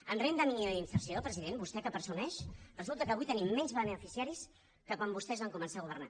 en renda mínima d’inserció president vostè que en presumeix resulta que avui tenim menys beneficiaris que quan vostès van començar a governar